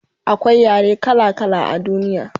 akwai yare kala kala a duniya